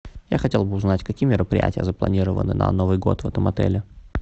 я хотел бы узнать какие мероприятия запланированы на новый год в этом отеле